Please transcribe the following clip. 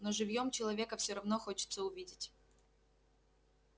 но живьём человека всё равно хочется увидеть